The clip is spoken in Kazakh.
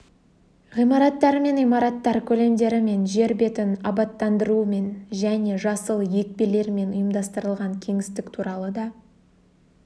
ғимараттар мен имараттар көлемдерімен жер бетін абаттандырумен және жасыл екпелермен ұйымдастырылған кеңістік туралы да